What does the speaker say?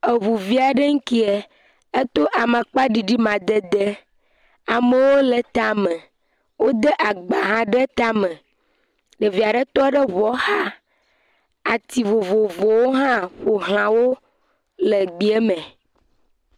Eŋuvia ɖe keŋ, ato amakpa ɖiɖi madede, amewo le eta me, wodo agbahã ɖe eta me, ɖevia ɖe tɔ ɖe eŋuɔ xa. Ati vovovowo hã le gbea me.